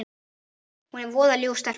Hún er voða ljúf stelpa.